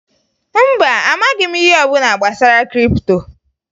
Mba, amaghị m ihe ọbụla gbasara kripto